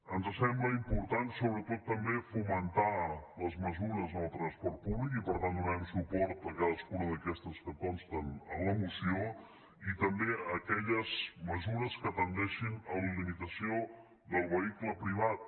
ens sembla important sobretot també fomentar les mesures en el transport públic i per tant donarem suport a cadascuna d’aquestes que consten en la moció i també a aquelles mesures que tendeixin a la limitació del vehicle privat